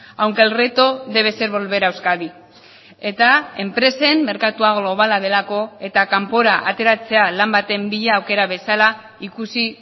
aunque el reto debe ser volver a euskadi eta enpresen merkatua globala delako eta kanpora ateratzea lan baten bila aukera bezala ikusi